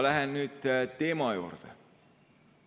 Lähen nüüd teema juurde.